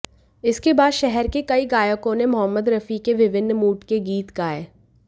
इसके बाद शहर के कई गायकों ने मोहम्मद रफी के विभिन्न मूड के गीत गाए